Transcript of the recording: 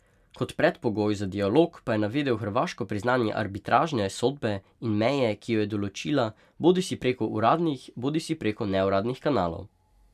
Kot predpogoj za dialog pa je navedel hrvaško priznanje arbitražne sodbe in meje, ki jo je določila, bodisi preko uradnih bodisi preko neuradnih kanalov.